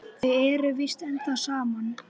Þau eru víst ennþá saman.